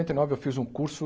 e nove, eu fiz um curso